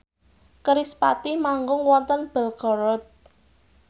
kerispatih manggung wonten Belgorod